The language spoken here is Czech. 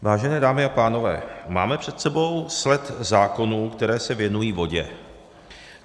Vážené dámy a pánové, máme před sebou sled zákonů, které se věnují vodě.